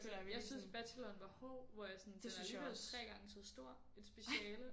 Jeg synes bacheloren var hård hvor jeg sådan det var alligevel 3 gange så stort et speciale